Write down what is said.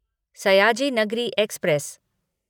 Sayaji Nagari express